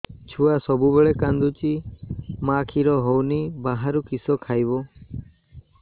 ଛୁଆ ସବୁବେଳେ କାନ୍ଦୁଚି ମା ଖିର ହଉନି ବାହାରୁ କିଷ ଖାଇବ